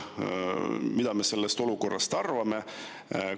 Mida me sellest olukorrast arvame?